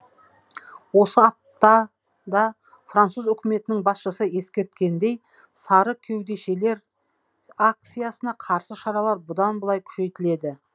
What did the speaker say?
осы аптада француз үкіметінің басшысы ескерткендей сары кеудешелер акциясына қарсы шаралар бұдан былай күшейтіледі